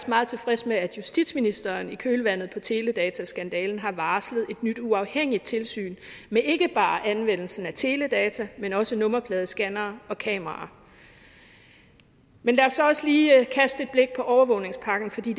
meget tilfreds med at justitsministeren i kølvandet på teledataskandalen har varslet et nyt uafhængigt tilsyn med ikke bare anvendelsen af teledata men også med nummerpladescannere og kameraer men lad os så også lige kaste et blik på overvågningspakken for det